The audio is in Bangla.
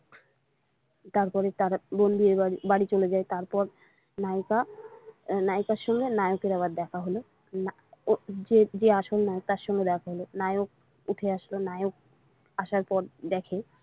তারপরে তারা বাড়ি চলে যায় তারপর নায়িকা নায়িকার সঙ্গে নায়কের আবার দেখা হল যে আসল নায়ক তার সঙ্গে দেখা হল নায়ক উঠে আসলো নায়ক আসার পর দেখে।